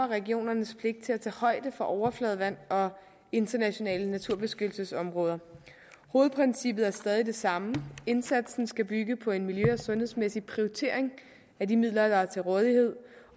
regionernes pligt til at tage højde for overfladevand og internationale naturbeskyttelsesområder hovedprincippet er stadig det samme indsatsen skal bygge på en miljø og sundhedsmæssig prioritering af de midler der er til rådighed